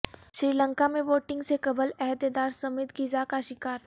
سری لنکا میں ووٹنگ سے قبل عہدیدار سمیت غذا کا شکار